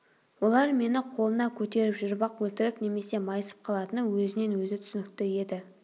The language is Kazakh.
олар мені қолына көтеріп жүріп-ақ өлтіріп немесе майысып қалатыны өзінен-өзі түсінікті еді